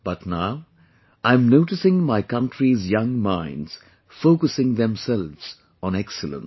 But now I'm noticing my country's young minds focusing themselves on excellence